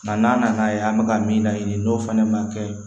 Nka n'a nana ye an bɛ ka min laɲini n'o fɛnɛ ma kɛ